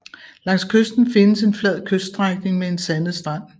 Langs kysten findes en flad kyststrækning med en sandet strand